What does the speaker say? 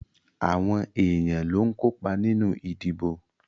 Àwọn èyàn ló ń kópa nínú ìdìbò.